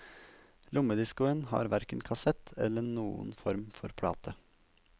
Lommediscoen har hverken kassett eller noen form for plate.